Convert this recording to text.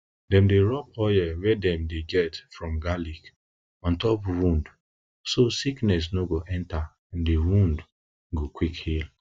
dem dey rub oil wey dem dey get from garlic on top wound so sickness no go enta and di wound wound go quick heal